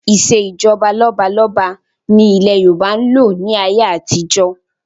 Ìsèjọba lọ́balọ́ba ni ilẹ̀ Yorùbá ń lò ní ayé àtijọ́